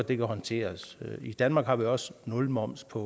det kan håndteres i danmark har vi også nul moms på